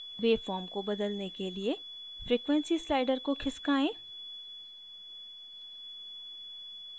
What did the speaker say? wave form को बदलने के लिए frequency slider को खिसकाएँ